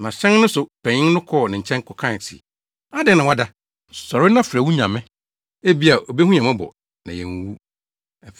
Na hyɛn no so panyin no kɔɔ ne nkyɛn kɔkae se, “Adɛn na woada? Sɔre na frɛ wo nyame! Ebia, obehu yɛn mmɔbɔ, na yɛanwuwu.”